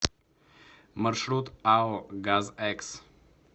маршрут ао газэкс